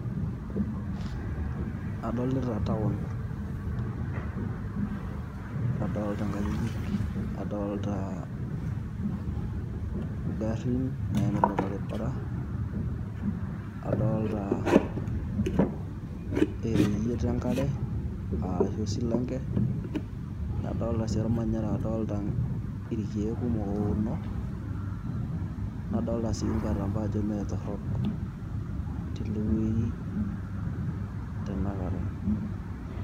Adolita town Nadolita eengajijik, adoolta egarrin naimita orbarabara ereyiet engare aashu esilanke, nadolita sii ormanyara adoolta irkiek kumok ouno, nadolita sii Engatampo ajo Maa torrok tiine weuji tanakata.